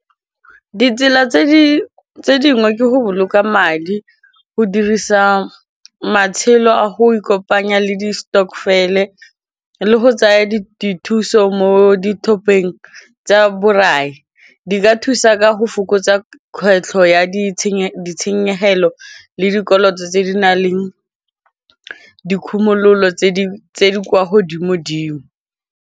Ditsela tse dingwe go boloka madi go dirisa matshelo a go ikopanya le di-stokvel e le go tsaya dithuso mo di top eng tsa borai di ka thusa ka go fokotsa kgwetlho ya ditshenyegelo le dikoloto tse di nang le dikhumololo tse di kwa godimo dimo.